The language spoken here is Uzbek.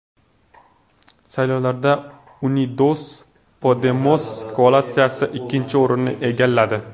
Saylovlarda Unidos Podemos koalitsiyasi ikkinchi o‘rinni egalladi.